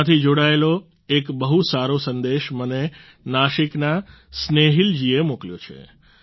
તેનાથી જોડાયેલો એક બહુ સારો સંદેશ મને નાશિકના સ્નેહીલ જીએ મોકલ્યો છે